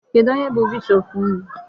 Kedụ onye bụ bishop unu?